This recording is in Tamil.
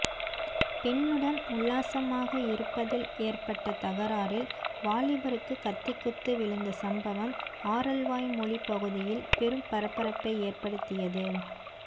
பெண்ணுடன் உல்லாசமாக இருப்பதில் ஏற்பட்ட தகராறில் வாலிபருக்கு கத்திக்குத்து விழுந்த சம்பவம் ஆரல்வாய்மொழி பகுதியில் பெரும் பரபரப்பை ஏற்படுத்தியது